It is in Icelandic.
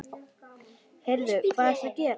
Heyrðu. hvað ertu að gera?